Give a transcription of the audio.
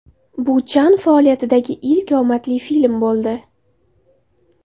Bu Chan faoliyatidagi ilk omadli film bo‘ldi.